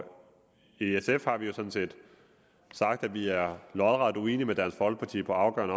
i sf har vi jo sådan set sagt at vi er lodret uenige med dansk folkeparti på afgørende